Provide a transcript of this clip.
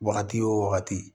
Wagati wo wagati